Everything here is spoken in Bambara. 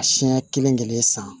Siɲɛ kelen kelen san